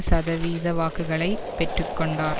சதவீத வாக்குகளை பெற்று கொண்டார்